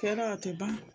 Kɛ dɔ a tɛ ban